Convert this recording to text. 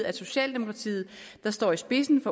at socialdemokratiet der står i spidsen